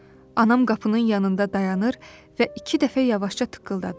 Anam qapının yanında dayanır və iki dəfə yavaşca tıqqıldadır.